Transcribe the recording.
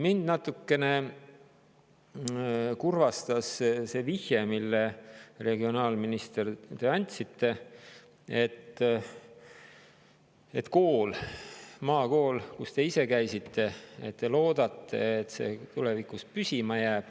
Mind natukene kurvastas see vihje, mille te, regionaalminister, andsite: et maakool, kus te ise käisite, loodetavasti jääb tulevikus püsima.